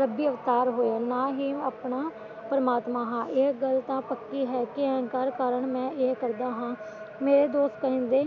ਰੱਬੀ ਅਵਤਾਰ ਹੋ ਨਾਂ ਹੀ ਆਪਣਾ ਪ੍ਰਮਾਤਮਾ ਹਾਂ ਇਹ ਗੱਲ ਤਾਂ ਪੱਕੀ ਹੈ ਕਿ ਅਹਿੰਕਾਰ ਕਾਰਨ ਮੈਂ ਇਹ ਕਰਦਾ ਹਾਂ ਮੇਰਾ ਦੋਸਤ ਸੰਜੇ